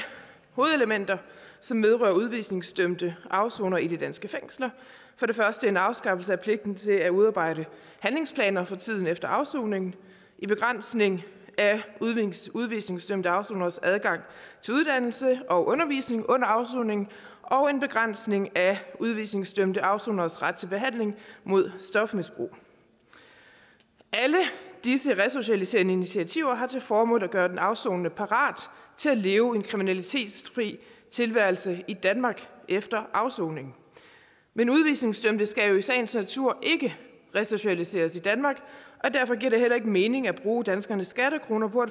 hovedelementer som vedrører udvisningsdømte afsonere i de danske fængsler en afskaffelse af pligten til at udarbejde handlingsplaner for tiden efter afsoningen en begrænsning af udvisningsdømte afsoneres adgang til uddannelse og undervisning under afsoningen og en begrænsning af udvisningsdømte afsoneres ret til behandling mod stofmisbrug alle disse resocialiserende initiativer har til formål at gøre den afsonende parat til at leve en kriminalitetsfri tilværelse i danmark efter afsoningen men udvisningsdømte skal jo i sagens natur ikke resocialiseres i danmark og derfor giver det heller ikke mening at bruge danskernes skattekroner på